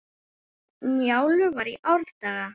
Njálu var í árdaga.